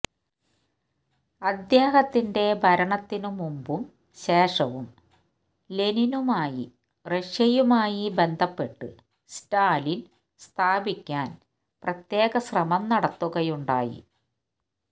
അദ്ദേഹത്തിന്റെ ഭരണത്തിനു മുമ്പും ശേഷവും ലെനിനുമായി റഷ്യയുമായി ബന്ധപ്പെട്ട് സ്റ്റാലിൻ സ്ഥാപിക്കാൻ പ്രത്യേകശ്രമം നടത്തുകയുണ്ടായി